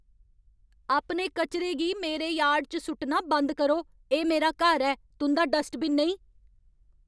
अपने कचरे गी मेरे यार्ड च सु'ट्टना बंद करो। एह् मेरा घर ऐ, तुं'दा डस्टबिन नेईं!